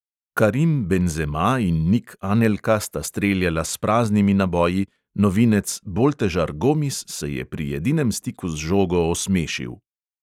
Karim benzema in nik anelka sta streljala s praznimi naboji, novinec boltežar gomis se je pri edinem stiku z žogo osmešil.